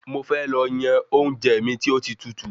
Mo fẹ́ lọ yan oúnjẹ mi tí ó tí tutù